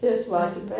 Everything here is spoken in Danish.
Ja